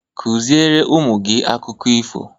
Kụziere ụmụ gị akụkọ ifo!